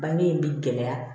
Bange in bɛ gɛlɛya